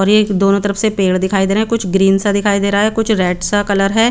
और एक दोनों तरफ से पेड़ दिखाई दे रहे है कुछ ग्रीन सा दिखाई दे रहा है कुछ रेड सा दिखाई दे रहा है।